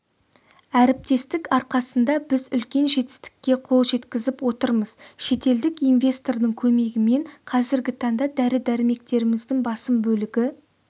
әріптестік арқасында біз үлкен жетістікке қол жеткізіп отырмыз шетелдік инвестордың көмегімен қазіргі таңда дәрі-дәрмектеріміздің басым бөлігі